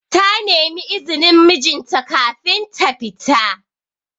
Ta nemi izinin mijin ta kafin ta fita.